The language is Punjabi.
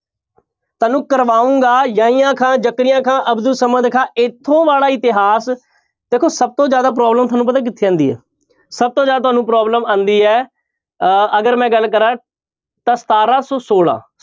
ਤੁਹਾਨੂੰ ਕਰਵਾਊਂਗਾ ਯਹੀਆਂ ਖਾਂ, ਜ਼ਕਰੀਆ ਖਾਂ, ਅਬਦੁਲ ਸਮਦ ਖਾਂ ਇੱਥੋਂ ਵਾਲਾ ਇਤਿਹਾਸ, ਦੇਖੋ ਸਭ ਤੋਂ ਜ਼ਿਆਦਾ problem ਤੁਹਾਨੂੰ ਪਤਾ ਕਿੱਥੇ ਆਉਂਦੀ ਹੈ ਸਭ ਤੋਂ ਜ਼ਿਆਦਾ ਤੁਹਾਨੂੰ problem ਆਉਂਦੀ ਹੈ ਅਹ ਅਗਰ ਮੈਂ ਗੱਲ ਕਰਾਂ ਤਾਂ ਸਤਾਰਾਂ ਸੌ ਛੋਲਾਂ